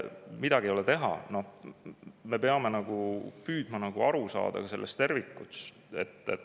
Midagi ei ole teha, me peame püüdma aru saada ka tervikust.